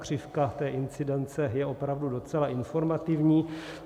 Křivka té incidence je opravdu docela informativní.